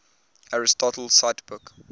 aristotle cite book